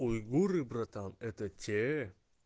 уйгуры братан это те